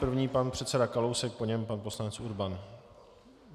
První pan předseda Kalousek, po něm pan poslanec Urban.